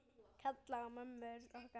Kalla á mömmur okkar?